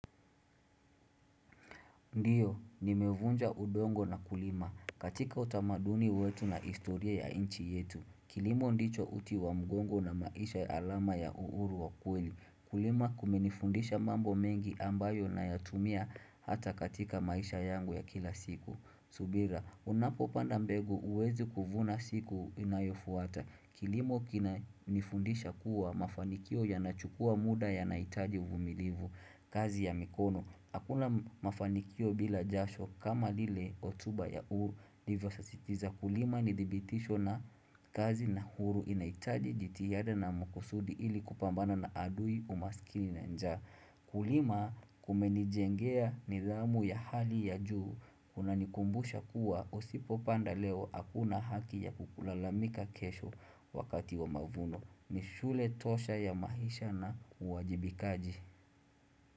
Ndiyo, nimevunja udongo na kulima. Katika utamaduni wetu na historia ya nchi yetu. Kilimo ndicho uti wa mgongo na maisha alama ya uhuru wa kweli. Kulima kumenifundisha mambo mengi ambayo nayatumia hata katika maisha yangu ya kila siku. Subira, unapopanda mbegu huwezi kuvuna siku inayofuata. Kilimo kinanifundisha kuwa mafanikio yanachukua muda yanahitaji uvumilivu kazi ya mikono. Hakuna mafanikio bila jasho kama lile hotuba ya uhuru sisitiza kulima ni thibitisho na kazi na uhuru inaitaji jitihada na makusudi ili kupambana na adui umaskini na njaa. Kulima kumenijengea nidhamu ya hali ya juu kunanikumbusha kuwa usipopanda leo hakuna haki ya kulalamika kesho wakati wa mavuno ni shule tosha ya maisha na uwajibikaji.